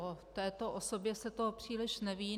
O této osobě se toho příliš neví.